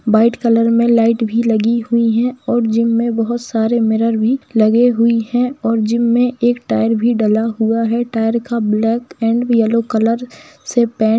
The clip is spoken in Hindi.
व्हाइट कलर में लाइट भी लगी हुई है और जिम में बहुत सारे मिरर भी लगे हुई है और जिम में एक टायर भी डला हुआ है टायर का ब्लैक एंड येल्लो कलर से पेंट --